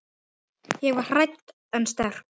Ég var hrædd en sterk.